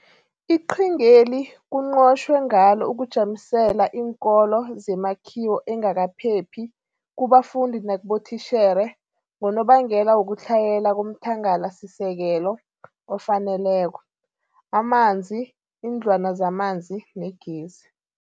Iqhingeli kunqotjhwe ngalo ukujamiselela iinkolo zemakhiwo engakaphephi kubafundi nakibotitjhere ngonobangela wokutlhayela komthangalasisekelo ofaneleko, amanzi, iindlwana zamanzi negezi.